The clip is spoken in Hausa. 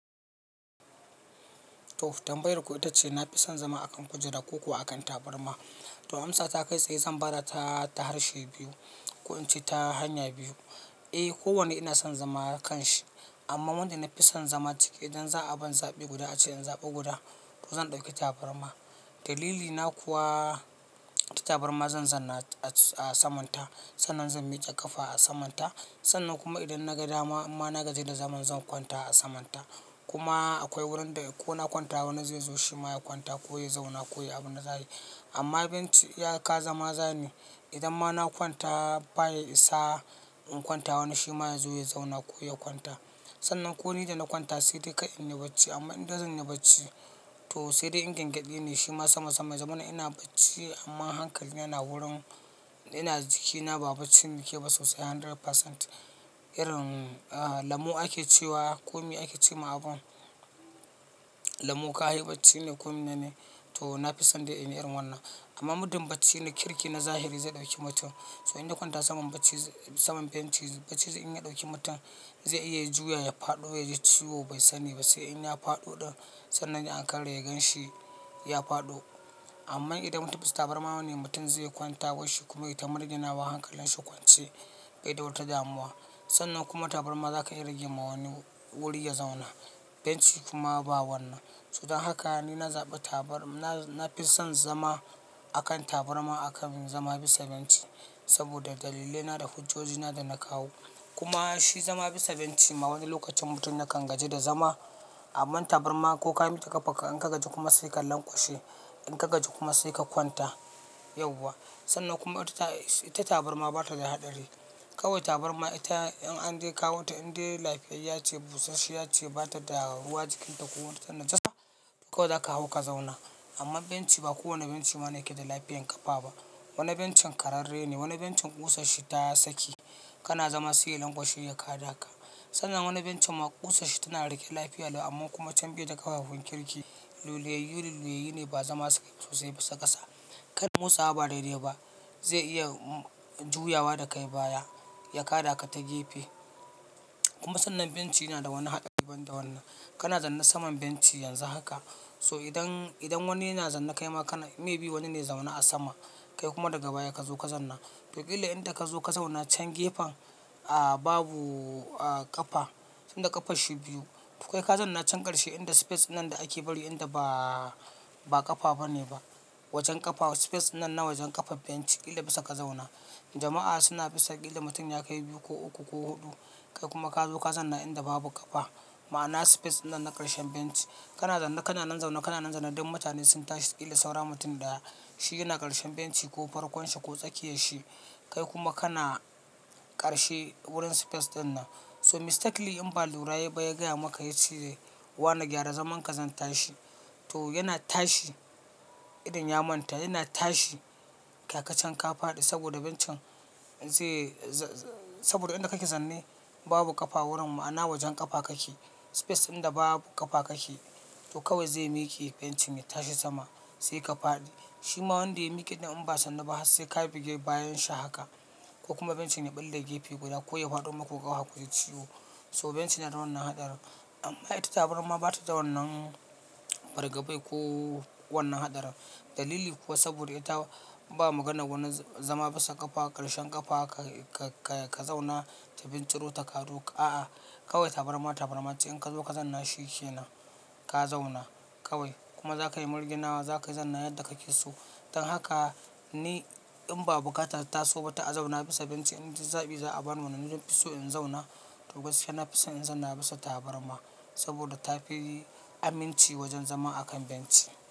To tambayar ku ita ce na fi son zama akan kujera ko kuwa akan tabarma. To amsa ta kai tsaye zan ba da ta harshe biyu ko in ce ta hanya biyu. Eh kowanne ina son zama kan shi amma wanda na fi son zama cike idan za a bani zaɓi guda a cikin zaɓe guda to zan ɗauki tabarma. Dalili na kuma ta tabarma zan zanna a saman ta, sannan zan miƙa kafa a saman ta, sannan kuma idan na gaji da zaman zan kwanta a saman ta. Kuma akwai wurin da ko na kwanta wani zai zo shi ma ya kwanta ko ya zauna ko ya yi abin nazari. Amma benci ya kazama zane. Idan ma na kwanta baya isa in kwanta wani shi ma ya zo ya zauna ko ya kwanta. Sannan ko ni da na kwanta sai dai ka'in ne bacci amma in da zan yi bacci to sai dai ingangyaɗi ne shima sama sama. Zamanina ina bacci amma hankali yana wurin ina jikina ba bacci ke ba sosai 100%. Irin ah lamu ake cewa, ƙumi ake ce ma abun, lamu ka haye bacci ne ƙumi ne to na fi son da in yi irin wannan. Amma muddin bacci na kirki na zahiri zai ɗauki mutum. So in na kwanta saman benci saman benci bacci in ya ɗauki mutum zai iya juya ya faɗo ya ciwo bai sani ba sai in ya faɗo ɗan. Sannan an karya ganshi ya faɗo. Amma idan mutum basu tabarma wani mutum zai kwanta kashi kuma ya yi ta margina wa hankalin shi kwance bai ɗa wata damuwa. Sannan kuma tabarma zaka iya rage ma wani wuri ya zauna. Benci kuma ba wannan. So don haka ni na zaɓi tabar ma na fi son zama akan tabarma aka min zama bisa benci saboda dalile na da hujojina da na kawo. Kuma shi zama bisa benci ma wani lokacin mutum yakan gaji da zama. Amma tabarma ko ka yi maka kafa in ka gaji kuma sai ka lanƙwashe in ka gaji kuma sai ka kwanta yauwa. Sannan kuma ita tabarma bata da haɗari. Kawai tabarma ita in an kawo ta in dai lafiyayya ce busashiya ce bata da rahuwa jikinta ko wani tantancewa kawai zaka hau ka zauna. Amma benci ba kowane bencin ma yake da lafiyar ƙafa ba. Wani bencin ƙararre ne, wani bencin ƙusashi ta saki kana zama sai ka lanƙwashe ya ka da aka. Sannan wani bencin ma ƙusashi tana riƙe lafiya amma kuma can biyu da ƙafafu kirki, luleyyu luleyyu ne ba zama sosai bisa ƙasa. Kai musawa ba daidai ba zai iya juyawa da kai baya ya ka da aka ta gefe. Kuma sannan benci yana da wani haɗari daban da wannan. Kana zanna saman benci yanzu haka so idan, idan wani yana zanna kai ma kana, me bi wani ne zauna a sama kai kuma daga baya ka zo ka zanna. To ƙila inda ka zo ka zauna can gefen a babu a ƙafa, sanda ƙafa shi biyu. To kai ka zanna can ƙarshe inda space nan da ake bari inda ba ƙafa bane ba. Wajen ƙafa space nan na wajen ƙafa benci ƙila bisa ka zauna. Jama'a suna bisa ƙila mutum ya kai biyu ko uku ko huɗu kai kuma ka zo ka zanna inda babu ƙafa. Ma'ana space nan na ƙarshen benci. Kana zanna kana nan zauna kana nan zanna duk mutane sun tashi ƙila saura mutum da shi yana ƙarshen benci ko farkon shi ko tsakiyar shi kai kuma kana ƙarshe wurin space danna. So mistakenly in ba lura ya ba ya gaya maka ya ce wane gyara zaman ka zan tashi. To yana tashi idan ya manta yana tashi ka kacen ka faɗi saboda bencin zai saboda inda kake zanne babu ƙafa wurin ma'ana wajen ƙafa kake. Space inda babu ƙafa kake to kawai zai miƙe bencin ya tashi sama sai ka faɗi. Shi ma wanda ya miƙe idan in ba sanda ba sai ka buge bayan shi haka ko kuma bencin ya ɓalle gefe guda ko ya faɗo muku ka hau ka yi ciwo. So bencin yana da wannan haɗarin. Amma ita tabarma bata da wannan bargabai ko wannan haɗarin. Dalili kuwa saboda ita ba maganar wani zama bisa ƙafa ƙarshen ƙafa ka zauna ta binciro ta ka zo. A'a kawai tabarma tabarma ce in ka zo ka zanna shi ke na ka zauna kawai kuma za ka yi margina wa za ka yi zanna yadda kake so. Don haka ni in ba bukatata so ba ta a zauna bisa benci idan zaɓi za a bani wannan na fi so in zauna to gaskiya na fi son in zanna bisa tabarma saboda tafi aminci wajen zama akan benci.